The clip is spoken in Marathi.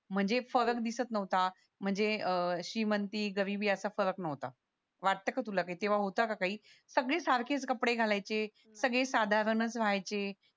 म्हणजे दिसत नव्हता म्हणजे अह श्रीमंती गरिबी असा फरक नव्हता वाटतं का तुला काही तेव्हा होत का काही सगळे सारखेच कपडे घालायचे सगळे साधारणच राहायचे